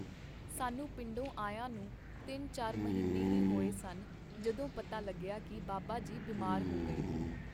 ਸਾਨੂੰ ਪਿੰਡੋਂ ਆਇਆਂ ਨੂੰ ਤਿੰਨ ਚਾਰ ਮਹੀਨੇ ਹੀ ਹੋਏ ਸਨ ਜਦੋਂ ਪਤਾ ਲੱਗਿਆ ਕੀ ਬਾਬਾ ਜੀ ਬਿਮਾਰ ਹੋ ਗਏ.